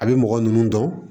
A bɛ mɔgɔ ninnu dɔn